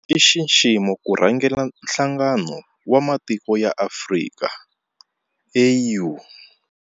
I nxiximo ku rhangela Nhlangano wa Matiko ya Afrika, AU.